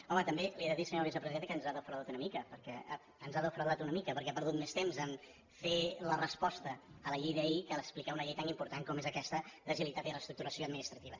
home també li he de dir senyora vicepresidenta que ens ha defraudat una mica perquè ha perdut més temps a fer la resposta a la llei d’ahir que a explicar una llei tan important com és aquesta d’agilitat i reestructuració administrativa